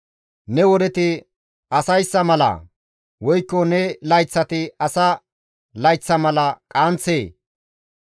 Ne wodeti asayssa malaa? Woykko ne layththati asa layththa mala qaanththee?